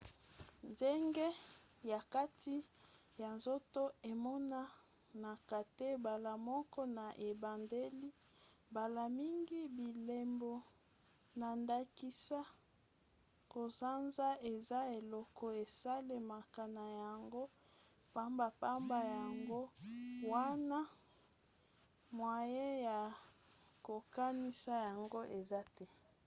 ngenge ya kati ya nzoto emonanaka te mbala moko na ebandeli. mbala mingi bilembo na ndakisa kosanza eza eloko esalemaka na yango pambapamba yango wana mwaye ya kokanisa yango eza te